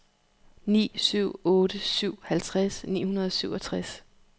ni syv otte syv halvtreds ni hundrede og syvogtres